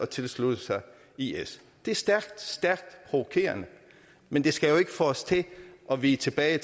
tilsluttet sig is det er stærkt stærkt provokerende men det skal jo ikke få os til at vige tilbage